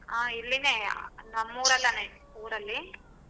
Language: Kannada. ಅಹ್ ಇಲ್ಲಿನೆ ನಮ್ಮೂರಲ್ಲಿನೆ ಊರಲ್ಲಿ.